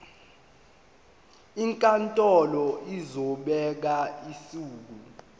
inkantolo izobeka usuku